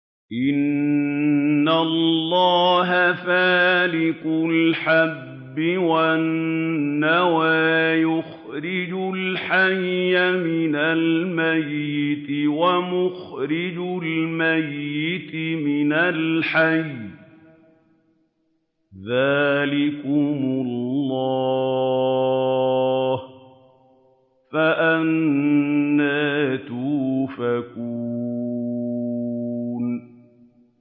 ۞ إِنَّ اللَّهَ فَالِقُ الْحَبِّ وَالنَّوَىٰ ۖ يُخْرِجُ الْحَيَّ مِنَ الْمَيِّتِ وَمُخْرِجُ الْمَيِّتِ مِنَ الْحَيِّ ۚ ذَٰلِكُمُ اللَّهُ ۖ فَأَنَّىٰ تُؤْفَكُونَ